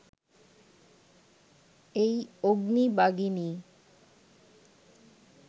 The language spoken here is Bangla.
এই অগ্নি-বাগিনী